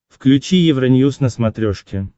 включи евроньюз на смотрешке